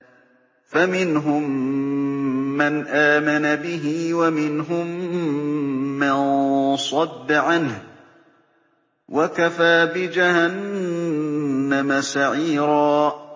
فَمِنْهُم مَّنْ آمَنَ بِهِ وَمِنْهُم مَّن صَدَّ عَنْهُ ۚ وَكَفَىٰ بِجَهَنَّمَ سَعِيرًا